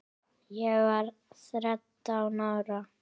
Ég var þrettán ára.